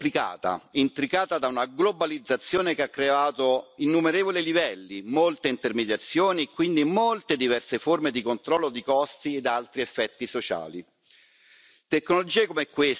Oggi la catena del valore è spesso complicata, intricata da una globalizzazione che ha creato innumerevoli livelli, molte intermediazioni e quindi molte diverse forme di controllo di costi ed altri effetti sociali.